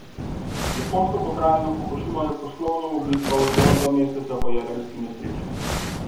Japonsko pokrajino Fukušima je poslovno obiskal zgolj dva meseca po jedrski nesreči.